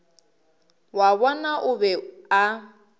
wa bona o be a